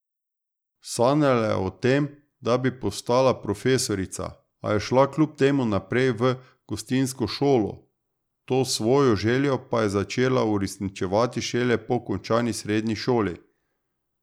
Sanjala je o tem, da bi postala profesorica, a je šla kljub temu najprej v gostinsko šolo, to svojo željo pa je začela uresničevati šele po končani srednji šoli.